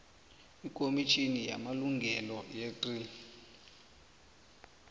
ikomitjhini yamalungelo yecrl